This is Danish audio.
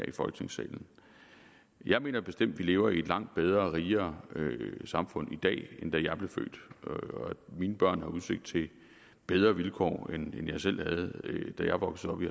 i folketingssalen jeg mener bestemt at vi lever i et langt bedre og rigere samfund i dag end da jeg blev født og at mine børn har udsigt til bedre vilkår end jeg selv havde da jeg voksede op i